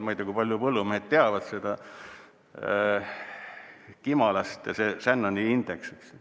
Ma ei tea, kui palju põllumehed teavad seda kimalaste Shannoni indeksit.